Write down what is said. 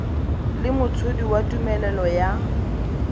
le motshodi wa tumelelo ya